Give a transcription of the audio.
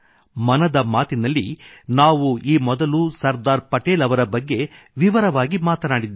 ಮನದ ಮಾತಿನಲ್ಲಿ ನಾವು ಈ ಮೊದಲು ಸರ್ದಾರ್ ಪಟೇಲ್ ಅವರ ಬಗ್ಗೆ ವಿವರವಾಗಿ ಮಾತನಾಡಿದ್ದೇವೆ